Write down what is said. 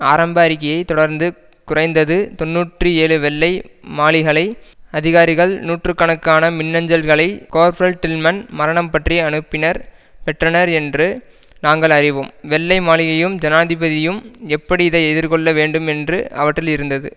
ஆரம்ப அறிக்கையை தொடர்ந்து குறைந்தது தொன்னூற்றி ஏழு வெள்ளை மாளிகளை அதிகாரிகள் நூற்று கணக்கான மின்னஞ்சல்களை கோர்ஃப்ரல் டில்மன் மரணம் பற்றி அனுப்பினர் பெற்றனர் என்று நாங்கள் அறிவோம் வெள்ளை மாளிகையும் ஜனாதிபதியும் எப்படி இதை எதிர்கொள்ள வேண்டும் என்று அவற்றில் இருந்தது